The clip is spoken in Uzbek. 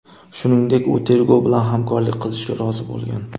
Shuningdek, u tergov bilan hamkorlik qilishga rozi bo‘lgan.